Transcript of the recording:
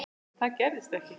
En það gerðist ekki.